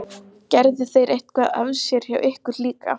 Hann hlær líka, trúir henni rétt mátulega.